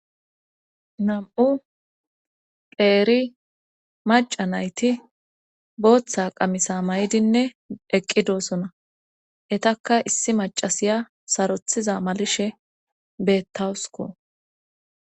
Nam'u pheeri maca nayti booththa qamisa may'dinne eqqi doosona etakka issi macasiya sarothiza malishe bettawusko.